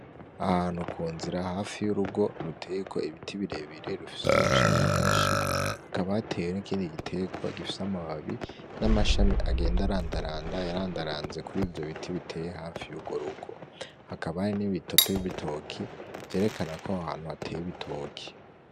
Ahantu ku nzira hafi y'urugo ruteyeko ibiti birebire rufise amashami menshi, hakaba hateye n'ikindi giterwa gifise amababi n'amashami agenda arandaranda, yarandaranze kuri ivyo biti biteye hafi y'urwo rugo, hakaba hari n'ibitoto y'ibitoki vyerekana ko aho hantu hateye ibitoki.